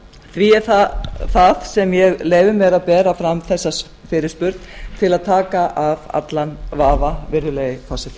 því er það sem ég leyfi mér að bera fram þessa fyrirspurn til að taka af allan vafa virðulegi forseti